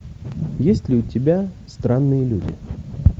есть ли у тебя странные люди